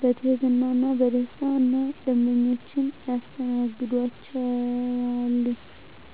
በትህትና እና በደስታና ደንበኞቻቸውን ያስተናግዷቸዋል! ዠ።